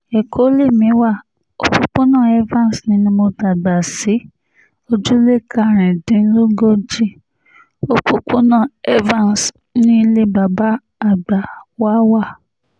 ẹ̀kọ́ lèmi wa òpópónà evans ni mo dàgbà sí ojúlé karùndínlógójì òpópónà evans ní ilé bàbá àgbà wa wà